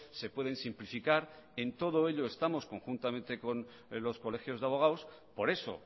se pueden simplificar en todo ello estamos conjuntamente con los colegios de abogados por eso